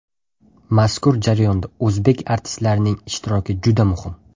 Mazkur jarayonda o‘zbek artistlarining ishtiroki juda muhim”.